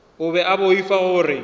o be a boifa gore